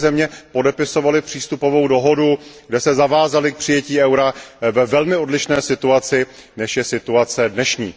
moje země, podepisovaly přístupovou dohodu, kde se zavázaly k přijetí eura, ve velmi odlišné situaci, než je situace dnešní.